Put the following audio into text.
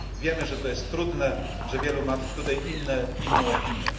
Wiemy, że to jest trudne, że wielu ma tutaj inną opinię.